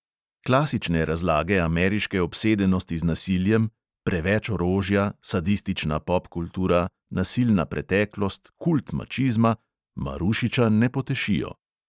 Klasične razlage ameriške obsedenosti z nasiljem – "preveč orožja", "sadistična popkultura", "nasilna preteklost", "kult mačizma" – marušiča ne potešijo.